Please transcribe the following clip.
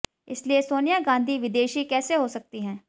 इसलिए सोनिया गांधी विदेशी कैसे हो सकती हैं